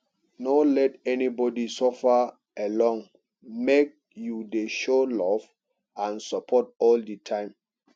no let anybody suffer alone make you dey show love and support all di time